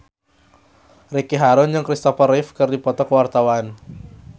Ricky Harun jeung Kristopher Reeve keur dipoto ku wartawan